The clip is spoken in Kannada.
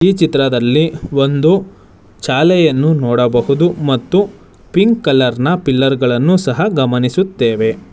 ಈ ಚಿತ್ರದಲ್ಲಿ ಒಂದು ಶಾಲೆಯನ್ನು ನೋಡಬಹುದು ಮತ್ತು ಪಿಂಕ್ ಕಲರ್ ನ ಪಿಲ್ಲರ್ ಗಳನ್ನು ಸಹ ಗಮನಿಸುತ್ತೇವೆ.